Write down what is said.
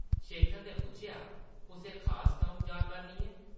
शेखर नै पुच्छेआ, ‘‘कुसै खास कम्म जा करनी ऐं?’’